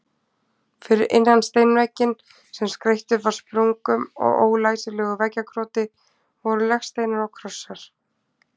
Fyrir innan steinvegginn, sem skreyttur var sprungum og ólæsilegu veggjakroti, voru legsteinar og krossar.